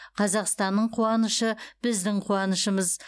қазақстанның қуанышы біздің қуанышымыз